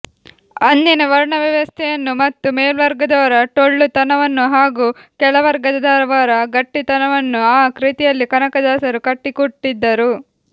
ಅಂದಿನ ವರ್ಣವ್ಯವಸ್ಥೆಯನ್ನು ಮತ್ತು ಮೇಲ್ವರ್ಗದವರ ಟೊಳ್ಳುತನವನ್ನು ಹಾಗೂ ಕೆಳವರ್ಗದವರ ಗಟ್ಟಿತನವನ್ನು ಆ ಕೃತಿಯಲ್ಲಿ ಕನಕದಾಸರು ಕಟ್ಟಿಕೊಟ್ಟಿದ್ದರು